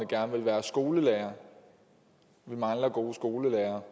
gerne ville være skolelærer og vi mangler gode skolelærere